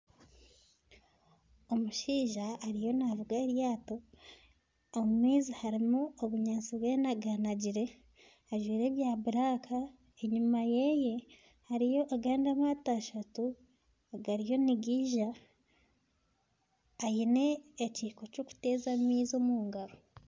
Omushaija ariyo navuga eryaato. Omu maizi harimu obunyaatsi bwenaganagire ajwaire ebya buraka. Enyima yeye hariyo agandi amaato ashatu agariyo nigija. Aine ekiiko ky'okuteeza amaizi omu ngaro.